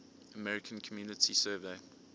american community survey